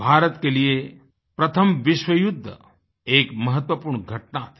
भारत के लिए प्रथम विश्व युद्ध एक महत्वपूर्ण घटना थी